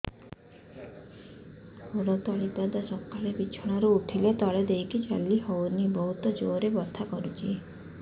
ଗୋଡ ତଳି ପାଦ ସକାଳେ ବିଛଣା ରୁ ଉଠିଲେ ତଳେ ଦେଇକି ଚାଲିହଉନି ବହୁତ ଜୋର ରେ ବଥା କରୁଛି